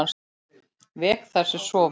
Vek þær sem sofa.